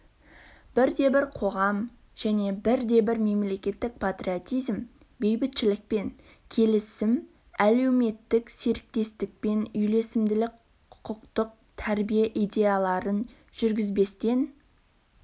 бірде бір қоғам және бірде бір мемлекет патриотизм бейбітшілік пен келісім әлеуметтік серіктестікпен үйлесімділік құқықтық тәрбие идеяларын жүргізбестен